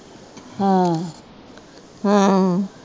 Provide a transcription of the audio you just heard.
ਹਾਂ